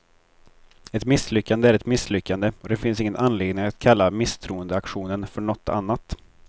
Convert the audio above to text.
Ett misslyckande är ett misslyckande, och det finns ingen anledning att kalla misstroendeaktionen för något annat.